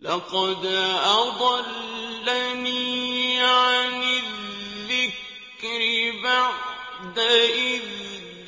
لَّقَدْ أَضَلَّنِي عَنِ الذِّكْرِ بَعْدَ إِذْ